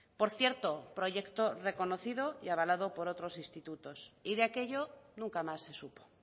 por cierto proyecto reconocido y avalado por otros institutos y de aquello nunca más se supo